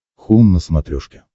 хоум на смотрешке